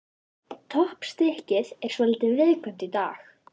Toppstykkið er svolítið viðkvæmt í dag.